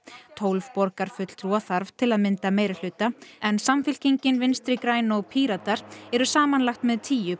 tólf borgarfulltrúa þarf til að mynda meirihluta en Samfylkingin Vinstri græn og Píratar eru samanlagt með tíu